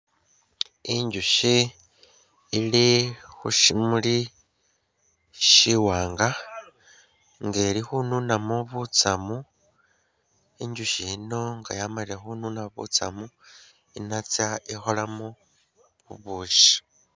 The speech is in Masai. Inzushi ili khusimuli shiwanga nga ili khununamo butsamu inzushi yino nga yamalile khununa butsamu inatsa ikholemu obushi.